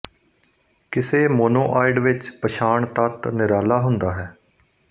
ਕਿਸੇ ਮੋਨੋਆਇਡ ਵਿੱਚ ਪਛਾਣ ਤੱਤ ਨਿਰਾਲਾ ਹੁੰਦਾ ਹੈ